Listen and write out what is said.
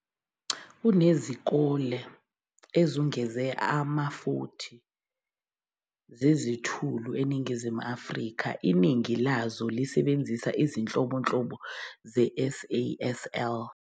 Kunezikole ezungeze ama-40 zezithulu eNingizimu Afrika, iningi lazo lisebenzisa izinhlobonhlobo ze-SASL.